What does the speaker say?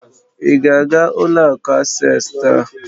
Ị ga-aga ụlọ akụ Asés taa?